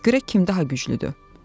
Görək kim daha güclüdür.